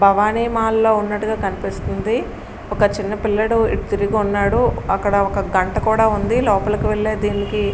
భవానీ మాలలో ఉన్నట్టుగా కనిపిస్తుంది. ఒక చిన్న పిల్లోడు ఇటు తిరిగి ఉన్నాడు. అక్కడ ఒక గంట కూడా ఉంది. లోపలికి వెళ్ళే దీనికి --